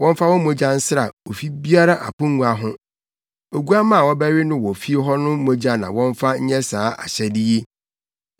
Wɔmfa wɔn mogya nsra ofi biara apongua ho. Oguamma a wɔbɛwe no wɔ fie hɔ no mogya na wɔmfa nyɛ saa ahyɛde yi.